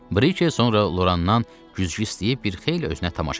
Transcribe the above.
Briki sonra Lorandan güzgü istəyib bir xeyli özünə tamaşa elədi.